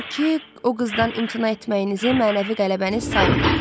Odur ki, o qızdan imtina etməyinizi mənəvi qələbəniz saymayın.